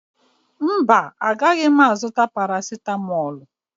Mba, agaghị m azụta parasịtamọọlụ